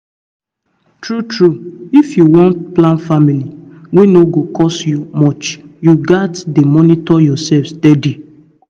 true talk if you wan plan family wey no go cost much you gats dey monitor yourself steady